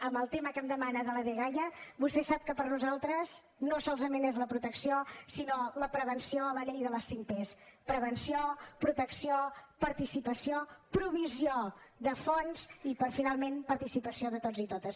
en el tema que em demana de la dgaia vostè sap que per nosaltres no solament és la protecció sinó la prevenció la llei de les cinc pes prevenció protecció participació provisió de fons i finalment participació de tots i totes